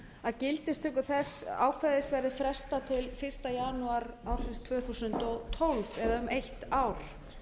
að gildistöku þess ákvæðis verði frestað til fyrsta janúar ársins tvö þúsund og tólf eða um eitt ár